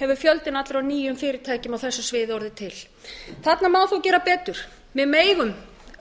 hefur fjöldinn allur af nýjum fyrirtækjum á þessu sviði orðið til þarna má þó gera betur við megum